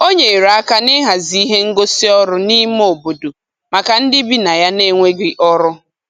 O nyere aka n'ịhazi ihe ngosị ọrụ n'ime obodo maka ndị bi na ya n'enweghị ọrụ.